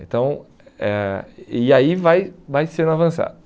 Então, eh e aí vai vai sendo avançado.